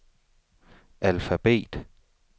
alfabet